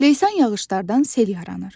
Leysan yağışlardan sel yaranır.